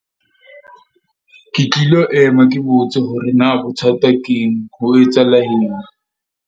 Ke tlilo ema ke botse hore na bothata keng ho etsahala eng.